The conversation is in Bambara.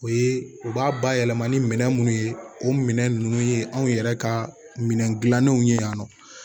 O ye u b'a bayɛlɛma ni minɛn munnu ye o minɛn nunnu ye anw yɛrɛ ka minɛn dilannenw ye yan nɔ